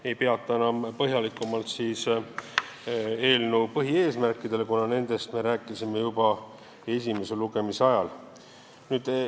Ma ei peatu enam põhjalikumalt eelnõu põhieesmärkidel, kuna nendest me rääkisime juba esimese lugemise ajal.